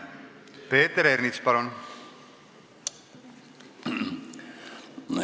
Peeter Ernits, palun!